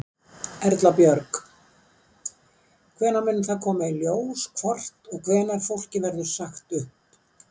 Erla Björg: Hvenær mun það koma í ljós hvort og hvenær fólki verður sagt upp?